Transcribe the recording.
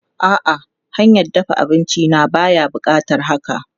A'a, hanyar dafa abinci na baya buƙatar haka.